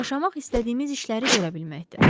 Yaşamaq istədiyimiz işləri görə bilməkdir.